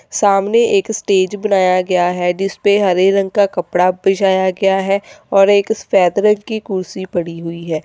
सामने एक स्टेज बनाया गया है जिसपे हरे रंग का कपड़ा पिसाई गया है और एक सफेद की कुर्सी पड़ी हुई है।